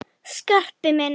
Skarpi minn!